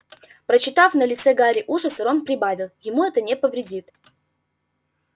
прочитав на лице гарри ужас рон прибавил ему это не повредит